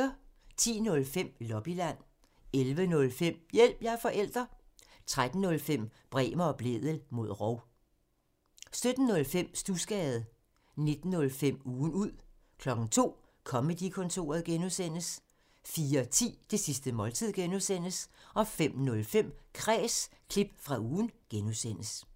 10:05: Lobbyland 11:05: Hjælp – jeg er forælder! 13:05: Bremer og Blædel mod rov 17:05: Studsgade 19:05: Ugen ud 02:00: Comedy-kontoret (G) 04:10: Det sidste måltid (G) 05:05: Kræs – klip fra ugen (G)